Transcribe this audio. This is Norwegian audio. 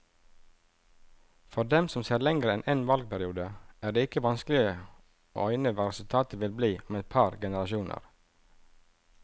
For dem som ser lenger enn en valgperiode, er det ikke vanskelig å øyne hva resultatet vil bli om et par generasjoner.